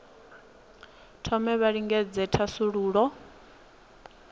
thome vha lingedze u thasulula